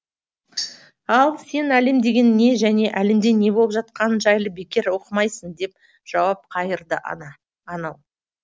ал сен әлем деген не және әлемде не болып жатқаны жайлы бекер оқымайсың деп жауап қайырды анау